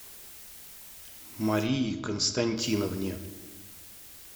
марии константиновне